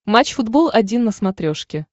матч футбол один на смотрешке